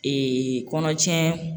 kɔnɔtiɲɛ